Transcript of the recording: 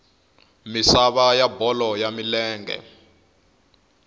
misava ya bolo ya milenge